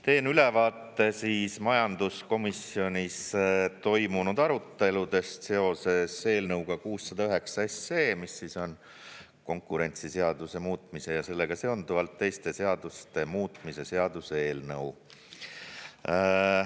Teen ülevaate majanduskomisjonis toimunud aruteludest seoses eelnõuga 609, mis on konkurentsiseaduse muutmise ja sellega seonduvalt teiste seaduste muutmise seaduse eelnõu.